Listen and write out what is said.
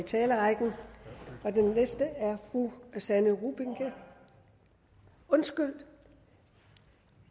talerrækken og den næste er fru sanne rubinke undskyld